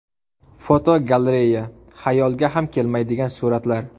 Fotogalereya: Xayolga ham kelmaydigan suratlar.